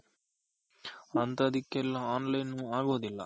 ಅಂತದಕೆಲ್ಲ online ಆಗೋದಿಲ್ಲ.